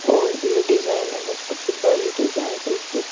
और ये डिजाइनो में कुछ बड़ी डिजाइंस --